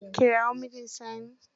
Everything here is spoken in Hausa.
Kirawo mjn Sani.